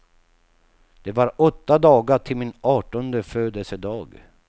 Det var åtta dagar till min artonde födelsedag.